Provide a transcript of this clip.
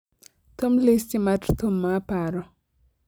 thum listi mar thum ma aparo